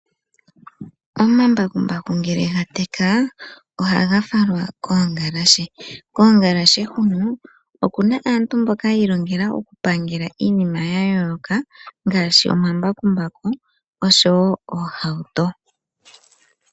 Omambakumbaku ngele ga teka ohaga falwa koongalashe. Koongalshe hono okuna aantu mboka hi ilongela oku pangela iinima ya yooloka ngaashi omambakumbaku oshowo oohauto.